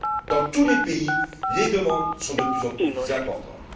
Dans tous les pays, les demandes sont de plus en plus importantes.